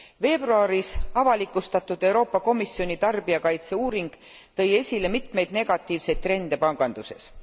Veebruaris avalikustatud Euroopa Komisjoni tarbijakaitse uuring tõi esile mitmeid negatiivseid trende panganduses.